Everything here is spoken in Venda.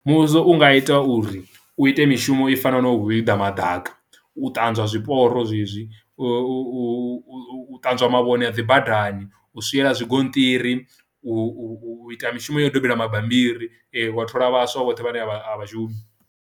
Muvhuso u nga ita uri u ite mishumo i fanaho na u hwiḓa madaka, u ṱanzwa zwiporo zwezwi, u u u u ṱanzwa mavhone a dzi badani, u swiela zwigonṱiri, u ita mishumo ya u dobela mabambiri wa thola vhaswa vhoṱhe vhane a vha a vha shumi.